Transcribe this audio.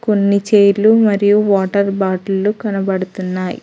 కొన్ని చైర్లు మరియు వాటర్ బాటిల్ లు కనబడతున్నాయి.